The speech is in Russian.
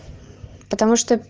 потому что